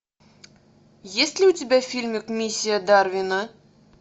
есть ли у тебя фильмик миссия дарвина